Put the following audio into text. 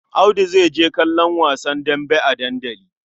Audu zai je kallon wasa dambe a dandali.